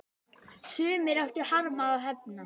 Sumir áttu harma að hefna.